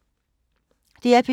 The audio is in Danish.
DR P2